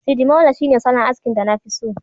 sidimolo shine solon askin da nafi so